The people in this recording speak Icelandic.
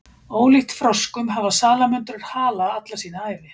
ólíkt froskum hafa salamöndrur hala alla sína ævi